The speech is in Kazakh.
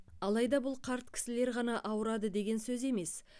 алайда бұл қарт кісілер ғана ауырады деген сөз емес